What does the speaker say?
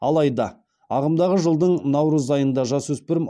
алайда ағымдағы жылдың наурыз айында жасөспірім